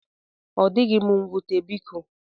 Odịghị m nwute biko.